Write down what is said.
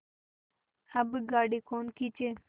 अब गाड़ी कौन खींचे